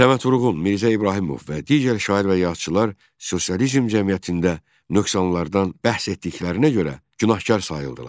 Səməd Vurğun, Mirzə İbrahimov və digər şair və yazıçılar sosializm cəmiyyətində nöqsanlardan bəhs etdiklərinə görə günahkar sayıldılar.